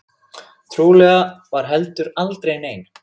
Trúlega var heldur aldrei nein.